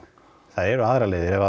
það eru aðrar leiðir